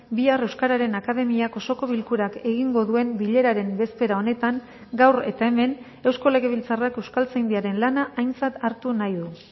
bihar euskararen akademiak osoko bilkurak egingo duen bileraren bezpera honetan gaur eta hemen eusko legebiltzarrak euskaltzaindiaren lana aintzat hartu nahi du